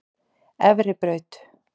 Efribraut